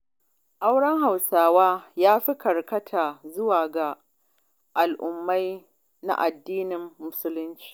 Auren Hausawa ya fi karkata zuwa ga al'amari na addinin Musulunci.